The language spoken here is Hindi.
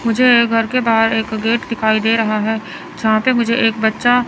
मुझे घर के बाहर एक गेट दिखाई दे रहा है जहां पे मुझे एक बच्चा--